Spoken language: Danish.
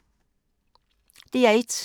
DR1